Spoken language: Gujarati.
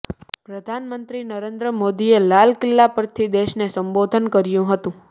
પ્રધાનમંત્રી નરેન્દ્ર મોદીએ લાલ કિલ્લા પરથી દેશને સંબોધન કર્યું હતું